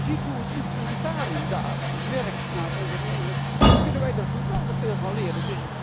Als je ziet hoe het instrumentarium daar werkt ten aanzien van ondernemers, dan kunnen wij daar geweldig veel van leren.